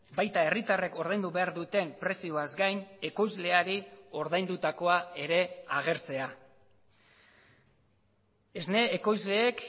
baita herritarrek ordaindu behar duten prezioaz gain ekoizleari ordaindutakoa ere agertzea esne ekoizleek